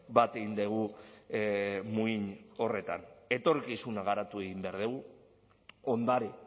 bat egin dugu muin horretan etorkizuna garatu egin behar dugu ondare